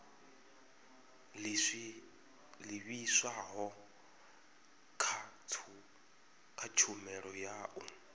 livhiswaho kha tshumelo ya u